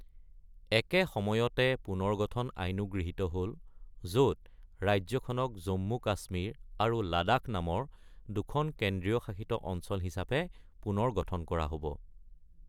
একে সময়তে পুনৰ্গঠন আইনো গৃহীত হ’ল, য’ত ৰাজ্যখনক জম্মু-কাশ্মীৰ আৰু লাডাখ নামৰ দুখন কেন্দ্ৰীয় শাসিত অঞ্চল হিচাপে পুনৰ গঠন কৰা হ’ব।